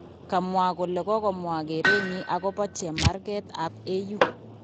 Kamwa kole kokomwa kerenyin okobo chemarget ab AU.